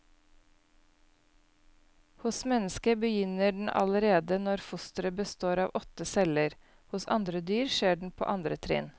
Hos mennesket begynner den allerede når fosteret består av åtte celler, hos andre dyr skjer den på andre trinn.